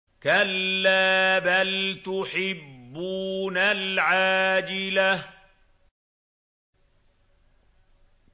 كَلَّا بَلْ تُحِبُّونَ الْعَاجِلَةَ